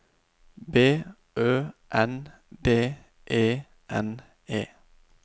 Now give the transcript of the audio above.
B Ø N D E N E